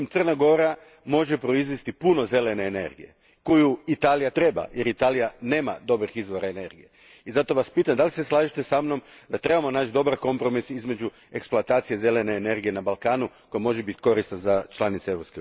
Međutim, Crna Gora može proizvesti puno zelene energije koju Italija treba, jer Italija nema dobrih izvora energije i zato vas pitam slažete li se sa mnom da trebamo naći dobar kompromis između eksploatacije zelene energije na Balkanu koja može biti korisna za članice EU